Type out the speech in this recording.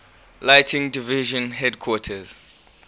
lighting division headquarters